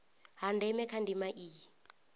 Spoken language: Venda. ha ndeme kha ndima iyi